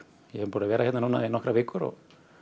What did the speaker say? ég er búin að vera hérna núna í nokkrar vikur og